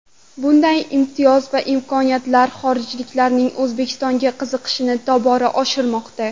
Bunday imtiyoz va imkoniyatlar xorijliklarning O‘zbekistonga qiziqishini tobora oshirmoqda.